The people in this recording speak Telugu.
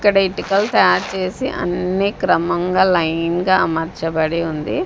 ఇక్కడ ఇటుకలు తయారు చేసి అన్నీ క్రమంగా లైన్ గా అమర్చబడి ఉంది.